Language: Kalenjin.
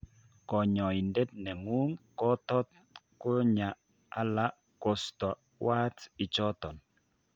Konyoindet nengung' kotot konyaa ala kostoo warts ichoton